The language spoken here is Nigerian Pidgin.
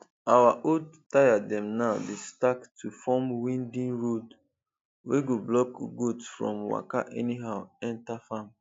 our old tyre dem now dey stack to form winding road wey go block goat from waka anyhow enter farm